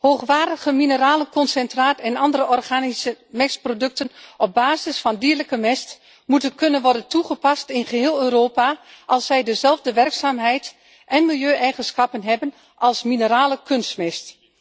Hoogwaardig mineralenconcentraat en andere organische mestproducten op basis van dierlijke mest moeten kunnen worden toegepast in geheel Europa als zij dezelfde werkzaamheid en milieueigenschappen hebben als minerale kunstmest.